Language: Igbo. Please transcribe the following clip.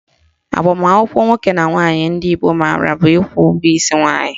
Agbamakwụkwọ nwoke na nwaanyị ndị Igbo maara bụ ịkwụ ụgwọ isi nwaanyị